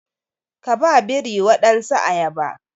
Ka ba biri wadansu ayaba